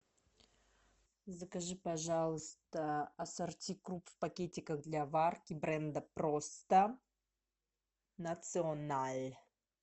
закажи пожалуйста ассорти круп в пакетиках для варки бренда просто националь